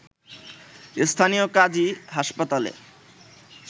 স্থানীয় কাজী হাসপাতালে